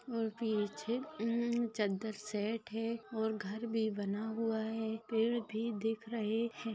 और पीछे चद्दर सेट है और घर भी बना हुआ है पैड भी दिख रहे है।